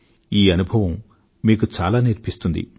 ఈ అనుభవం మీకు చాలా నేర్పిస్తుంది